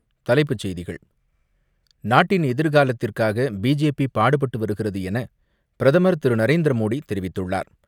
தலைப்புச் செய்திகள் நாட்டின் எதிர்காலத்திற்காக பிஜேபி பாடுபட்டு வருகிறது என பிரதமர் திரு நரேந்திர மோடி தெரிவித்துள்ளார்.